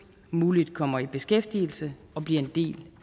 muligt kommer i beskæftigelse og bliver en del